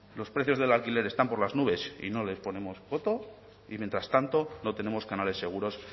los precios del alquiler están por las nubes y no les ponemos coto y mientras tanto no tenemos canales seguros